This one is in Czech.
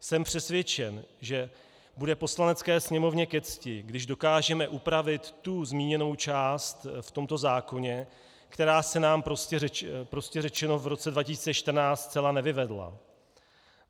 Jsem přesvědčen, že bude Poslanecké sněmovně ke cti, když dokážeme upravit tu zmíněnou část v tomto zákoně, která se nám prostě řečeno v roce 2014 zcela nevyvedla.